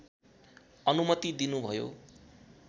अनुमति दिनुभयो